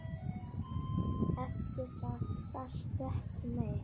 Eftir það gastu ekki meir.